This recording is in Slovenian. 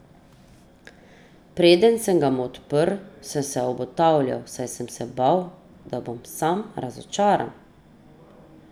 Preden sem ga odprl, sem se obotavljal, saj sem se bal, da bom spet razočaran!